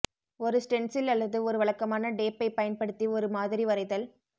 ஒரு ஸ்டென்சில் அல்லது ஒரு வழக்கமான டேப்பை பயன்படுத்தி ஒரு மாதிரி வரைதல்